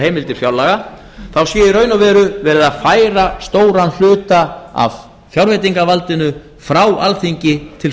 heimildir fjárlaga sé í raun og veru verið að færa stóran hluta af fjárveitingavaldinu frá alþingi til